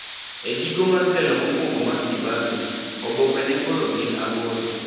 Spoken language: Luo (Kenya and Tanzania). Egiko mar telo mokuongo mar Kibaki, oboke ne koro gin aboro.